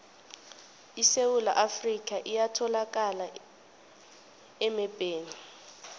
isewula afrika iyatholakala emebheni